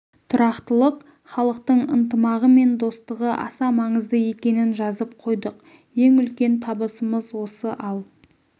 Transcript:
тұрақтылық халықтың ынтымағы мен достығы аса маңызды екенін жазып қойдық ең үлкен табысымыз осы ал